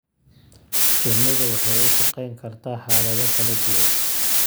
Shinnidu waxay ku shaqayn kartaa xaalado kala duwan.